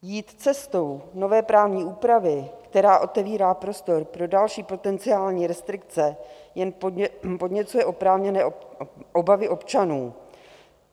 Jít cestou nové právní úpravy, která otevírá prostor pro další potenciální restrikce, jen podněcuje oprávněné obavy občanů.